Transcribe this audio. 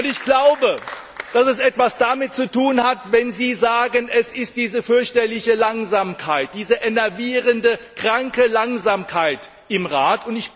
Ich glaube, dass es etwas damit zu tun hat, wenn Sie sagen, es ist diese fürchterliche Langsamkeit, diese enervierende, kranke Langsamkeit im Rat.